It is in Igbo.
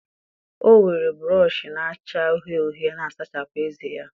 O were brọsh na-acha uhie uhie na-asachapụ ezé ya.